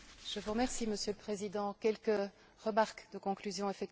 Monsieur le Président, quelques remarques de conclusion, effectivement.